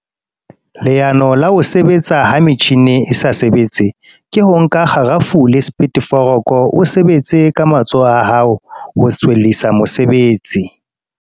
Leano la ho sebetsa ha metjhini e sa sebetse. Ke ho nka kgarafu le . O sebetse ka matsoho a hao ho tswellisa mosebetsi.